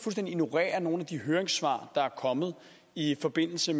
ignorerer nogle af de høringssvar der er kommet i forbindelse